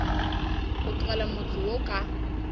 go tlogela motse wo ka